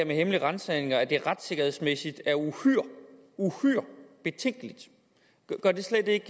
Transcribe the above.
med hemmelige ransagninger at det retssikkerhedsmæssigt er uhyre uhyre betænkeligt gør det slet ikke